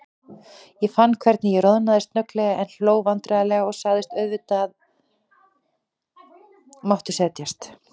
Ég fann hvernig ég roðnaði snögglega, en hló vandræðalega og sagði: Auðvitað máttu setjast.